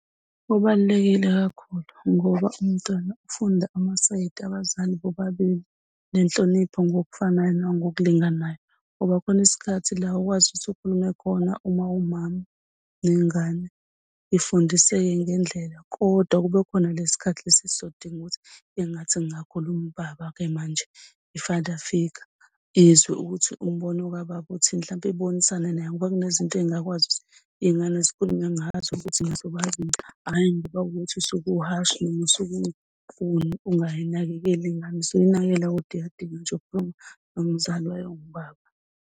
Kubalulekile kakhulu ngoba umntwana uyafunda amasayidi, abazali bobabili nenhlonipho ngokufanayo nangokulinganayo. Ngoba khona isikhathi la okwazi ukuthi ukhulume khona uma uwumama nengane ifundiseke ngendlela. Kodwa kube khona le sikhathi lesi esodinga ukuthi engathi kungakhuluma ubaba-ke manje, i-father figure. Izwe ukuthi umbono kababa uthini mhlawumbe ibonisane naye ngoba kunezinto engingakwazi ukuthi iy'ngane zikhulume ngazo futhi hhayi ngoba kukuthi usuke uhashi noma usuke ungayinakekeli ingane, usuke uyinakekela kodwa iyadinga nje ukukhuluma nomzali wayo owubaba.